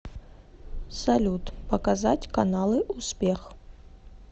салют показать каналы успех